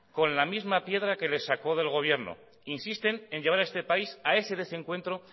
con la misma piedra que les sacó del gobierno insisten en llevar a este país a ese desencuentro